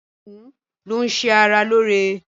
Ọdùkún ń ṣe ara lóóre